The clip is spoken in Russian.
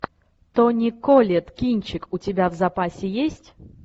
тони коллетт кинчик у тебя в запасе есть